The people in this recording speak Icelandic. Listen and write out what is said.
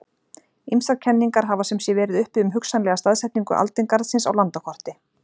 Ýmsar kenningar hafa sem sé verið uppi um hugsanlega staðsetningu aldingarðsins á landakorti.